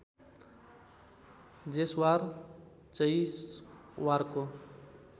Jaiswar जैसवारको